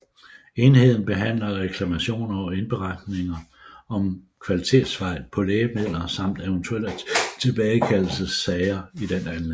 Enheden behandler reklamationer og indberetninger om kvalitetsfejl på lægemidler samt eventuelle tilbagekaldelsessager i den anledning